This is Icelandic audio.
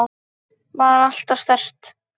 Var alltaf sterk.